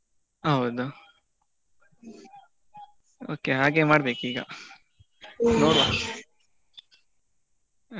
ಹೌದು okay ಹಾಗೆ ಮಾಡ್ಬೇಕು ಈಗ . ನೋಡುವ ಅದೇ.